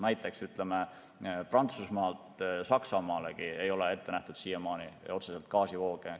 Näiteks Prantsusmaalt Saksamaalegi ei ole siiamaani ette nähtud otseseid gaasivooge.